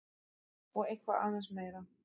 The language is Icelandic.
Og eitthvað aðeins meira!